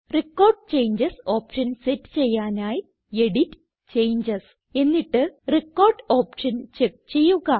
record changes option set ചെയ്യാനായി edit → changes എന്നിട്ട് record option check ചെയ്യുക